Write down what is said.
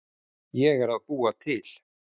Ég er að búa til.